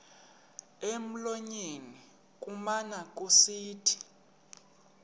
emlonyeni kumane kusithi